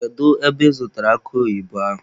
Kedu ebe ị zụtara akụ oyibo ahụ?